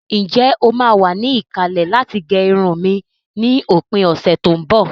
Ǹjẹ́ o máa wà ní ìkàlẹ̀ láti gẹ irun mi ni òpin ọ̀sẹ̀ tó ń bọ̀?